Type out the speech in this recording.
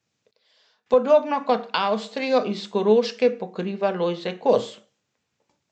Podobno kot Avstrijo iz Koroške pokriva Lojze Kos.